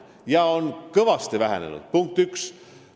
See on kõvasti vähenenud, punkt üks.